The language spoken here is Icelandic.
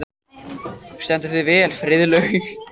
Þú stendur þig vel, Friðlaug!